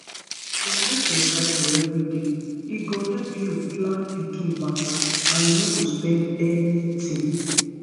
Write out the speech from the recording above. if you dey note your cycle everyday e go help you plan pikin matter and you no spend anything